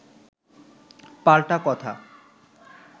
পাল্টা কথা